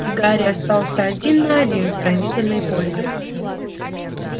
и гарри остался один на один с пронзительной болью